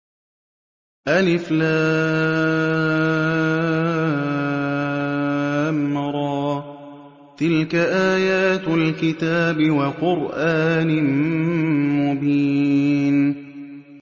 الر ۚ تِلْكَ آيَاتُ الْكِتَابِ وَقُرْآنٍ مُّبِينٍ